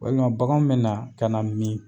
Walima bakan be na, ka na mi